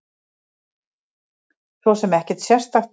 Svo sem ekkert sérstakt.